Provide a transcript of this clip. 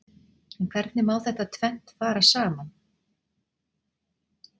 En hvernig má þetta tvennt fara saman?